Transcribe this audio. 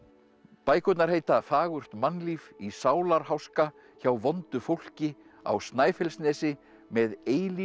bækurnar heita fagurt mannlíf í sálarháska hjá vondu fólki á Snæfellsnesi með